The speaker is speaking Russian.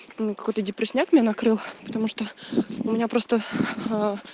меня какой-то депресняк меня накрыл потому что у меня просто